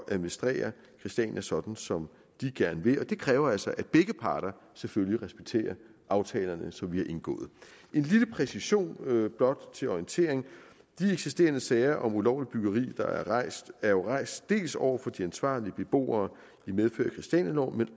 administrere christiania sådan som de gerne vil og det kræver altså at begge parter selvfølgelig respekterer aftalerne som vi har indgået en lille præcision blot til orientering de eksisterende sager om ulovligt byggeri der er rejst er jo rejst dels over for de ansvarlige beboere i medfør af christianialoven